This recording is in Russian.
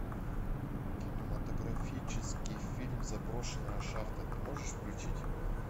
кинематографический фильм заброшенная шахта ты можешь включить